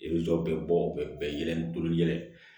I bɛ jɔ bɛ bɔ u bɛ bɛɛ yɛlɛ